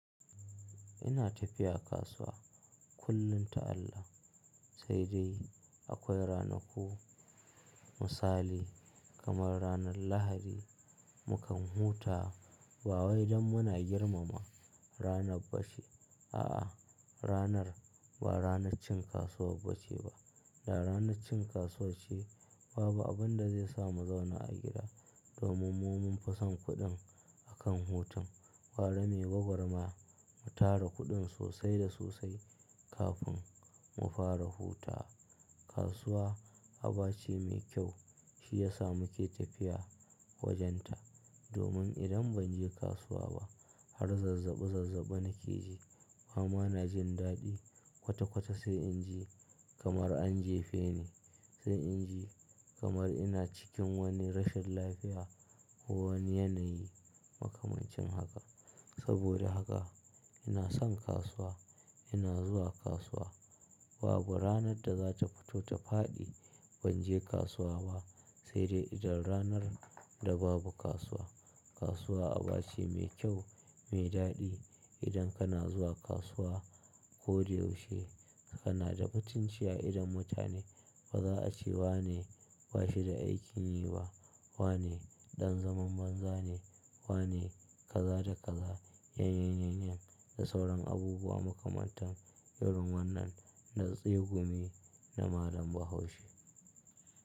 Ina tafiya kasuwa kullum ta Allah. Sai dai akwai ranaku misali, kamar ranar Lahadi mukan huta bawai dan muna girmama ranar bace. A'a, ranar ba ranar cin kasuwar bace ba. Da ranar cin kasuwa ce babu abin da zaisa mu zauna a gida domin mu munfi son kuɗin akan hutun. Gara muyi gwagwarmaya mu tara kuɗin sosai da sosai kafin mu fara hutawa. Kasuwa abace mai kyau shiyasa muke tafiya wajenta domin idan banje kasuwa ba har zazzabi zazzabi nakeji. Bama najin daɗi kwata kwata sai in ji kamar an jefe ni. Sai inji kamar ina cikin wani rashin lafiya, ko wani yanayi makamancin haka. Saboda haka, ina son kasuwa, ina zuwa kasuwa. Babu ranar da zata fito ta faɗi, ban je kasuwa ba. Saidai idan ranar da babu kasuwa. Kasuwa abace mai kyau, mai daɗi. Idan kana zuwa kasuwa koda yaushe kanada mutunci a idon mutane. Ba za'a ce wane bashida aikinyi ba. Wane, ɗan zaman banza ne. Wane kaza da kaza. Yanayin yanayin da sauran abubuwa makamantan. Irin wannan na tsegumi na malam Bahaushe.